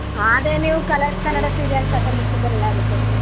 ಅದೇ ನೀವ್ colors Kannada serial ಹಾಕೊಂಡಿರ್ತೀರಲ್ಲ ಅದ್ಕೊಸ್ಕರ.